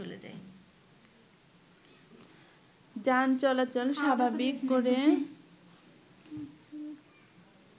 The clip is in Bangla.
যান চলাচল স্বাভাবিক করে